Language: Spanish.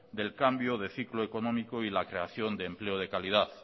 del cambio de ciclo económico y la creación de empleo de calidad